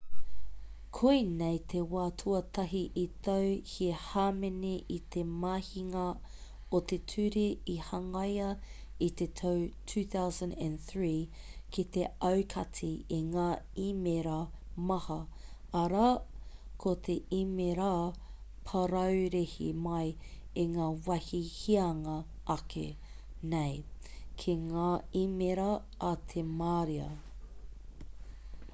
koinei te wā tuatahi i tau he hāmene i te mahinga o te ture i hangaia i te tau 2003 ki te aukati i ngā īmēra maha arā ko te īmēra paraurehe mai i ngā wāhi hianga ake nei ki ngā īmēra a te marea